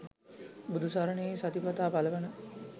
බුදුසරණෙහි සතිපතා පළවන